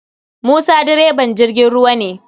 Musa direban jirgin ruwa ne.